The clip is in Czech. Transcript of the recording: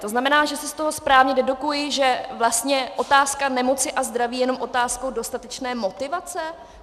To znamená, že si z toho správně dedukuji, že vlastně otázka nemoci a zdraví je jen otázkou dostatečné motivace?